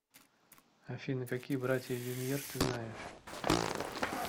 афина какие братья люмьер ты знаешь